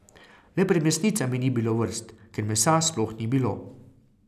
Le pred mesnicami ni bilo vrst, ker mesa sploh ni bilo.